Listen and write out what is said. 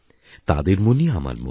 তাদের মনই আমার মন